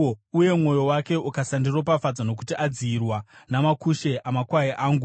uye mwoyo wake ukasandiropafadza nokuti adziyirwa namakushe amakwai angu,